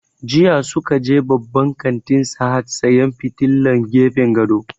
Jiya sun je babban kantin Sahad sayan fitilan gefen gado